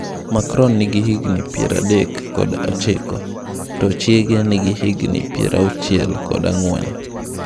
Macron ni gi higni piero adek kod ochiko ka chiege ni gi higni piero auchiel kod ang'wen.